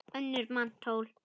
önnur manntöl